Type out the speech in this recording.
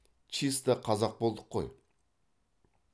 чиста қазақ болдық қой